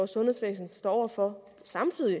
sundhedsvæsen står over for samtidig